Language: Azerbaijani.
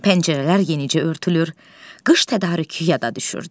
Pəncərələr yenicə örtülür, qış tədarükü yada düşürdü.